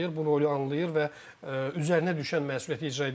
Bu rolu anlayır və üzərinə düşən məsuliyyəti icra edəcək.